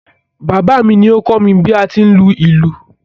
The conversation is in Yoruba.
Bàbá mi ni o kọ́ mi bi a ti ń lu ìlú.